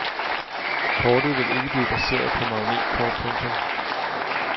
Kortet vil ikke blive baseret på magnetkort. punktum